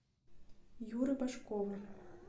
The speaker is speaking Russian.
юры башкова